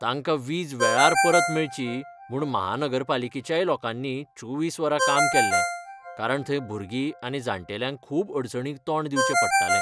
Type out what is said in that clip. तांकां वीज वेळार परत मेळची म्हूण महानगरपालिकेच्याय लोकांनी चोवीस वरां काम केल्लें, कारण थंय भुरगीं आनी जाण्टेल्यांक खूब अडचणींक तोंड दिवचें पडटालें.